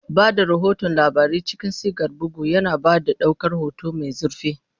Ba da rahoton labarai cikin sigar bugu, yana ba da ɗaukar hoto mai zurfi.